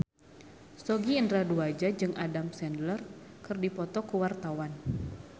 Sogi Indra Duaja jeung Adam Sandler keur dipoto ku wartawan